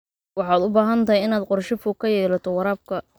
Waxaad u baahan tahay inaad qorshe fog ka yeelato waraabka.